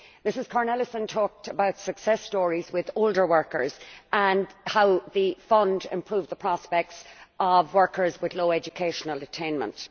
Ms Cornelissen talked about success stories with older workers and how the fund improved the prospects of workers with low educational attainment.